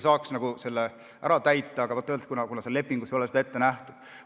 Selle saaks ära teha, aga vaat, öeldakse, et seal lepingus ei ole seda ette nähtud.